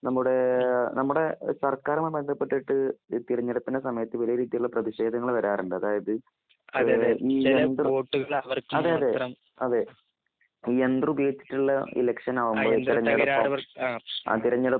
നമ്മുടേ നമ്മുടെ സർക്കാരുമായി ബന്ധപ്പെട്ടിട്ട് തിരഞ്ഞെടുപ്പിന്റെ സമയത്ത് വിവിധ തരത്തിലുള്ള പ്രതിഷേധങ്ങൾ വരാറുണ്ട്. അതായിത് യന്ത്രം ഉപയോഗിച്ചിട്ടുള്ള ഇലക്ഷൻ ആകുമ്പോൾ തിരഞ്ഞെടുപ്പ്